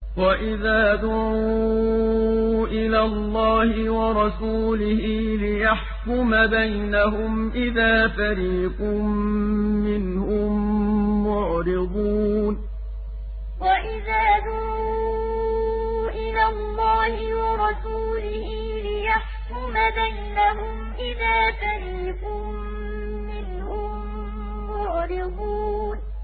وَإِذَا دُعُوا إِلَى اللَّهِ وَرَسُولِهِ لِيَحْكُمَ بَيْنَهُمْ إِذَا فَرِيقٌ مِّنْهُم مُّعْرِضُونَ وَإِذَا دُعُوا إِلَى اللَّهِ وَرَسُولِهِ لِيَحْكُمَ بَيْنَهُمْ إِذَا فَرِيقٌ مِّنْهُم مُّعْرِضُونَ